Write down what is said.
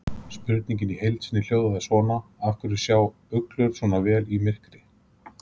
Spurningin í heild sinni hljóðaði svona: Af hverju sjá uglur sjá svona vel í myrkri?